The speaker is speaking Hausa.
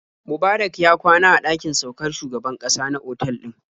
Mubarak ya kwana a ɗakin saukar shugaban ƙasa na otal ɗin.